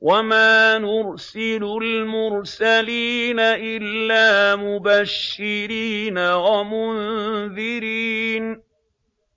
وَمَا نُرْسِلُ الْمُرْسَلِينَ إِلَّا مُبَشِّرِينَ وَمُنذِرِينَ ۚ